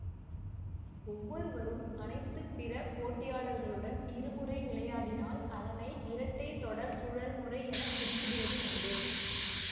ஒவ்வொருவரும் அனைத்து பிற போட்டியாளர்களுடன் இருமுறை விளையாடினால் அதனை இரட்டை தொடர் சுழல்முறை என குறிப்பிடுவது உண்டு